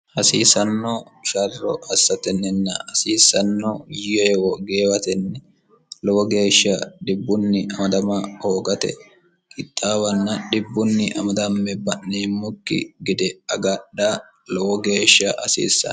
hasiisanno sharro assatenninna hasiissanno yewo geewatenni lowo geeshsha dhibbunni amadama hoogate kixaawanna dhibbunni amadamme ba'neemmokki gede agadha lowo geeshsha hasiissano